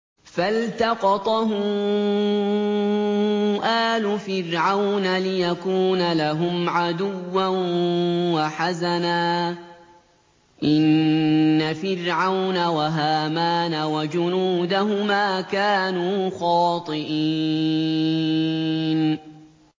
فَالْتَقَطَهُ آلُ فِرْعَوْنَ لِيَكُونَ لَهُمْ عَدُوًّا وَحَزَنًا ۗ إِنَّ فِرْعَوْنَ وَهَامَانَ وَجُنُودَهُمَا كَانُوا خَاطِئِينَ